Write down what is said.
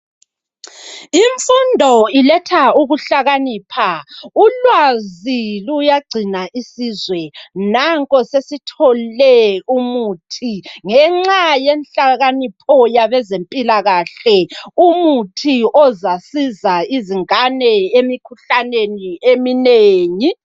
Imfundo iletha ukuhlakanipha ulwazi luyagcina isizwe nanko sesithole umuthi ngenxa yenhlakanipho yabezempilakahle umuthi ozasiza izingane emikhuhlaneni eminengi.